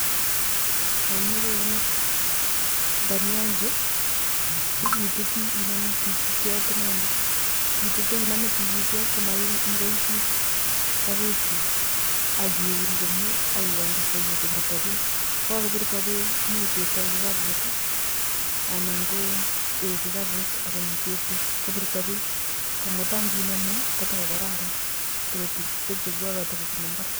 Yaimache igonor dania ichu ituti iname tigityot inendet ituti inamen tigityot inendet ituti inamen tikityot komakoichil sake chik akiun komie akikany kosaiyo kobirto bek AK kokakobirto bek ,kokakobirto bek inyoi itembtoi kikabutanan ko kikabut ak kotembto bek si ninemuu kokararan kotembto kou nekabunu imbar